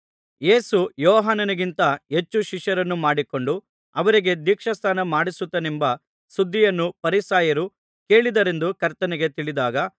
ಯೇಸು ಯೋಹಾನನಿಗಿಂತ ಹೆಚ್ಚು ಶಿಷ್ಯರನ್ನು ಮಾಡಿಕೊಂಡು ಅವರಿಗೆ ದೀಕ್ಷಾಸ್ನಾನ ಮಾಡಿಸುತ್ತಾನೆಂಬ ಸುದ್ದಿಯನ್ನು ಫರಿಸಾಯರು ಕೇಳಿದರೆಂದು ಕರ್ತನಿಗೆ ತಿಳಿದಾಗ